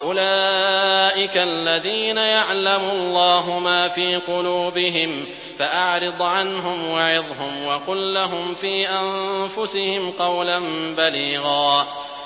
أُولَٰئِكَ الَّذِينَ يَعْلَمُ اللَّهُ مَا فِي قُلُوبِهِمْ فَأَعْرِضْ عَنْهُمْ وَعِظْهُمْ وَقُل لَّهُمْ فِي أَنفُسِهِمْ قَوْلًا بَلِيغًا